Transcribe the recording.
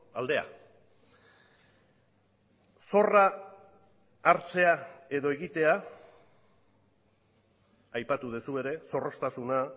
aldea zorra hartzea edo egitea aipatu duzu ere zorroztasuna